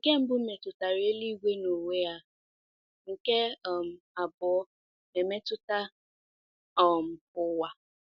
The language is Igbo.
Nke mbụ metụtara eluigwe n’onwe ya, nke um abụọ emetụta um ụwa.